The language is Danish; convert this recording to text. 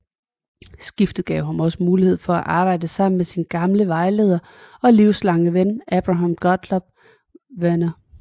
Skiftet gav ham også mulighed for at arbejde sammen med sin gamle vejleder og livslange ven Abraham Gottlob Werner